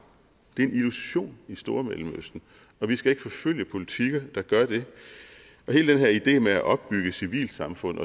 er en illusion i stormellemøsten og vi skal ikke forfølge politikker der gør det hele den her idé med at opbygge civilsamfund